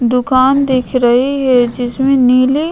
दुकान दिख रही है जिसमे नीले --